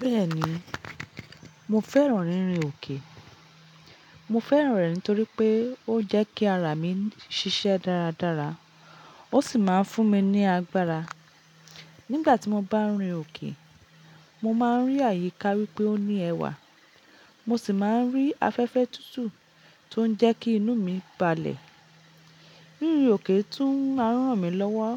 Bẹ́ẹ̀ni, mo fẹ́ràn rírin òkè. Mo fẹ́ràn rẹ̀ nítorí pé ó jẹ́ kí ara mi ṣiṣẹ́ dáradára, ó sì máa ń fún mi ní agbára. Nígbà tí mo bá ń rìn òkè, mo máa ń rí àyíká wípé ó ní ẹwà, mo sì máa ń rí afẹ́fẹ́ tútù tó ń jẹ́ kí inú mi balẹ̀. Rírìn òkè tún ma n ranmi lọ́wọ́